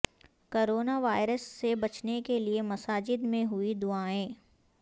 corona virus سے بچنے کے لئے مساجد میں ہوئی دعائیں